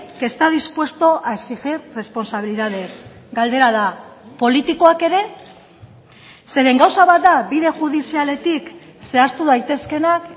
que está dispuesto a exigir responsabilidades galdera da politikoak ere zeren gauza bat da bide judizialetik zehaztu daitezkeenak